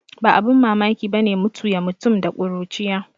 Ba abin mamaki bane mutu ya mutum da kuruciya